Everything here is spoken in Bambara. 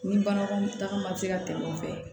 Ni banakɔtaga bɛ se ka tɛmɛ o fɛ